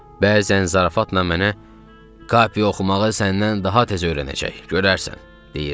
Bəzən zarafatla mənə Kapi oxumağı səndən daha tez öyrənəcək, görərsən deyirdi.